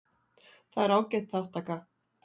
Það er ágæt þátttaka